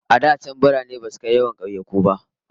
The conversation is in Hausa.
A da can birane basu kai yawan kauyuka ba.